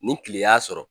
Ni kile y'a sɔrɔ